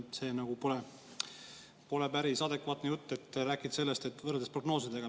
See pole päris adekvaatne jutt, et võrreldes prognoosidega.